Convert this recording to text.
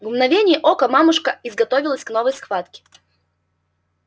в мгновение ока мамушка изготовилась к новой схватке